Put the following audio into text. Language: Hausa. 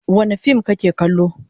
Wane fim kake kallo?